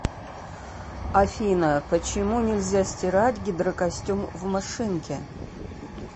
афина почему нельзя стирать гидрокостюм в машинке